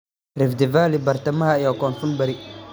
"Rift Valley, Bartamaha iyo Koonfur-bari.